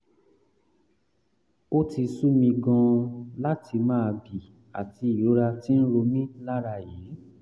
ó ti sú mi gan-an láti máa bì àti ìrora tí ń ro mí lára yìí